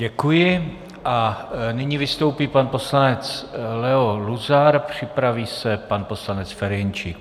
Děkuji a nyní vystoupí pan poslanec Leo Luzar, připraví se pan poslanec Ferjenčík.